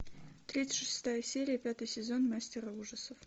тридцать шестая серия пятый сезон мастера ужасов